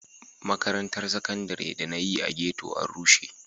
Makarantar Saƙandare da na yi a ghetto an rushe.